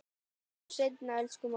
Sjáumst seinna, elsku mamma.